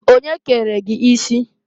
Onye kere gi isi?"